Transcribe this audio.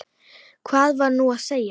Hvað var hún að segja?